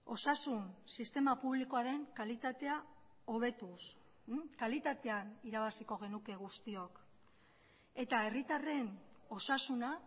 osasun sistema publikoaren kalitatea hobetuz kalitatean irabaziko genuke guztiok eta herritarren osasuna